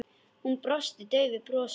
Hún brosti daufu brosi.